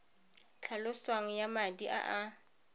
tlhaloswang ya madi a a